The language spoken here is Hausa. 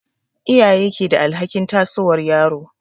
Iyaye ke da alhakin tasowar yaro.